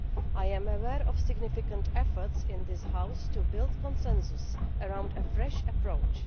I am aware of significant efforts in this House to build consensus around a fresh approach.